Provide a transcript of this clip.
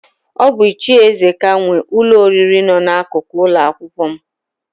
Ọ bụ Ichie Ezeka nwe ụlọ oriri nọ n'akụkụ ụlọakwụkwọ m.